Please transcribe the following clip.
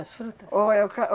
As frutas? Ou é o ca,